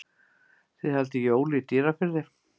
Þið haldið jól í Dýrafirði.